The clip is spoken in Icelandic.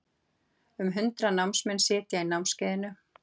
Um hundrað námsmenn sitja í námskeiðinu